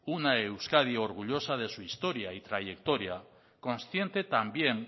una euskadi orgullosa de su historia y trayectoria consciente también